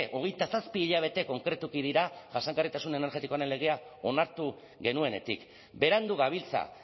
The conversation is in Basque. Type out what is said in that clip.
hogeita zazpi hilabete konkretuki dira jasangarritasun energetikoaren legea onartu genuenetik berandu gabiltza